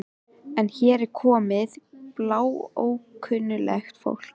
En hér er komið bláókunnugt fólk.